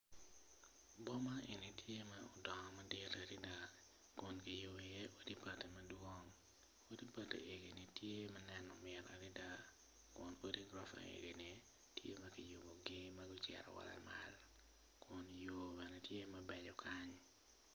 Boma eni tye ma odongo madit adada kun kiyubo iye odi bati madwongo odi bati eni tye ma neno mit adada kun odi bati eni tye ma kiyubogi ocito malo kunyo bene tye ma beco kany.